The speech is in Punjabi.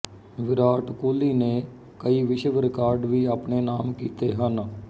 ਵਿਰਾਟ ਕੋਹਲੀ ਨੇ ਕਈ ਵਿਸ਼ਵ ਰਿਕਾਰਡ ਵੀ ਆਪਣੇ ਨਾਮ ਕੀਤੇ ਹਨ